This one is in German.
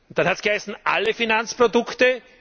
Dann hat es geheißen alle Finanzprodukte.